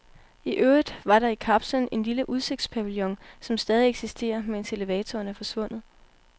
I øvrigt var der i kapslen en lille udsigtspavillon, som stadig eksisterer, mens elevatoren er forsvundet.